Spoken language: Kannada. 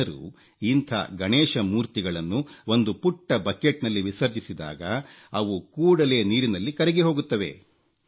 ಜನರು ಇಂಥ ಗಣೇಶ ಮೂರ್ತಿಗಳನ್ನು ಒಂದು ಪುಟ್ಟ ಬಕೆಟ್ನಲ್ಲಿ ವಿಸರ್ಜಿಸಿದಾಗ ಅವು ಕೂಡಲೇ ನೀರಿನಲ್ಲಿ ಕರಗಿಹೋಗುತ್ತವೆ